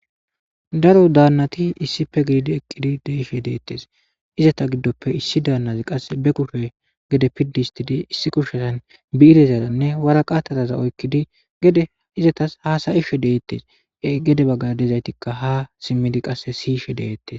daro daannati issipe gididi eqqidi deishe deettes izata giddoppe issi daannazi qasse be kushe gede piddistidi issi kushetan biirezaranne waraqatataza oykkidi gede izatas haasayishe deettes gede baggadezaytikka ha simmidi qasse siyishe deeettes